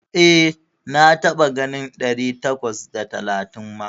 E, na taɓa ganin ɗari takwas da talatin ma.